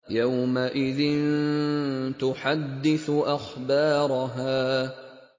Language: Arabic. يَوْمَئِذٍ تُحَدِّثُ أَخْبَارَهَا